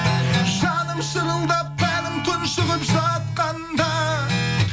жаным шырылдап тәнім тұншығып жатқанда